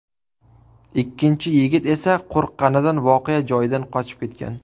Ikkinchi yigit esa qo‘rqqanidan voqea joyidan qochib ketgan.